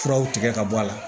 Furaw tigɛ ka bɔ a la